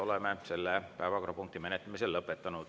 Oleme selle päevakorrapunkti menetlemise lõpetanud.